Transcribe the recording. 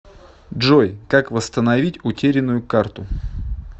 джой как вастановить утеренную карту